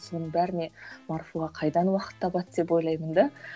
соның бәріне марфуға қайдан уақыт табады деп ойлаймын да